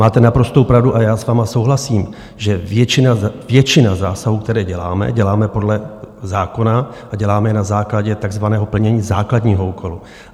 Máte naprostou pravdu, a já s vámi souhlasím, že většina zásahů, které děláme, děláme podle zákona a děláme je na základě takzvaného plnění základního úkolu.